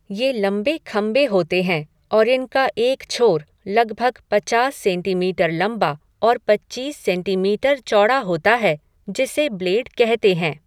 ये लंबे खंभे होते हैं और इनका एक छोर लगभग पचास सेंटीमीटर लंबा और पच्चीस सेंटीमीटर चौड़ा होता है, जिसे ब्लेड कहते हैं।